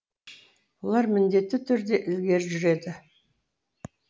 бұлар міндетті түрде ілгері жүреді